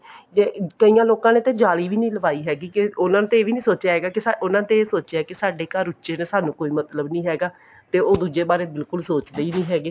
ਤੇ ਕਈਆਂ ਲੋਕਾਂ ਨੇ ਤਾਂ ਜਾਲੀ ਵੀ ਨੀ ਲਵਾਈ ਹੈਗੀ ਕੇ ਉਹਨਾ ਨੇ ਇਹ ਵੀ ਨੀ ਸੋਚਿਆ ਹੈਗਾ ਉਹਨਾ ਨੇ ਤਾਂ ਇਹ ਸੋਚਿਆ ਕੇ ਸਾਡੇ ਉੱਚੇ ਤੇ ਸਾਨੂੰ ਕੋਈ ਮਤਲਬ ਨੀ ਹੈਗਾ ਤੇ ਉਹ ਦੁੱਜੇ ਬਾਰੇ ਬਿਲਕੁਲ ਸੋਚਦੇ ਹੀ ਨਹੀਂ ਹੈਗੇ